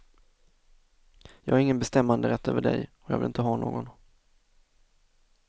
Jag har ingen bestämmanderätt över dig, och jag vill inte ha någon.